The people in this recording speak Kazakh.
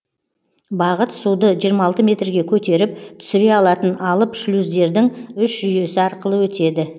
бағыт суды жиырма алты метрге көтеріп түсіре алатын алып шлюздердің үш жүйесі арқылы өтеді